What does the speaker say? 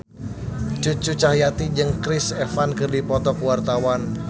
Cucu Cahyati jeung Chris Evans keur dipoto ku wartawan